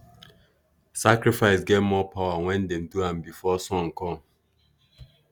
sacrifice get more power when dem do am before sun come.